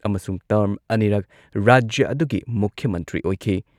ꯑꯃꯁꯨꯡ ꯇꯔ꯭ꯝ ꯑꯅꯤꯔꯛ ꯔꯥꯖ꯭ꯌ ꯑꯗꯨꯒꯤ ꯃꯨꯈ꯭ꯌ ꯃꯟꯇ꯭ꯔꯤ ꯑꯣꯏꯈꯤ꯫